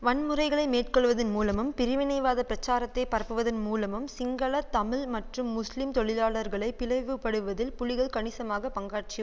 வன்முறைகளை மேற்கொள்வதின் மூலமும் பிரிவினைவாத பிரச்சாரத்தை பரப்புவதின் மூலமும் சிங்கள தமிழ் மற்றும் முஸ்லிம் தொழிலாளர்களை பிளவுபடுவதில் புலிகள் கணிசமான பங்காற்றி